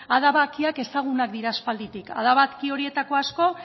adabakiak ezagunak dira aspalditik adabaki horietako asko